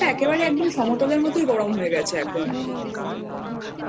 পরতে হচ্ছিল না কালিম্পঙটা একেবারে একদম সমতলের